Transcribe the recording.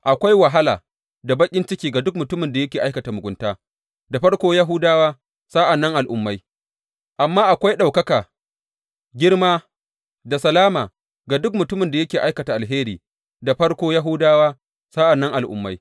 Akwai wahala da baƙin ciki ga duk mutumin da yake aikata mugunta, da farko Yahudawa, sa’an nan Al’ummai, amma akwai ɗaukaka, girma da salama ga duk mutumin da yake aikata alheri, da farko Yahudawa, sa’an nan Al’ummai.